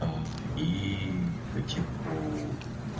а и по типу